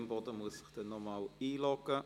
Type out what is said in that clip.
Imboden muss sich noch einmal einloggen.